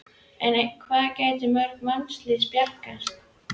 En hvað gætu mörg mannslíf bjargast?